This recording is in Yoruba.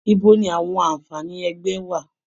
Ibo ni àwọn àǹfààní ẹgbẹ́ wà?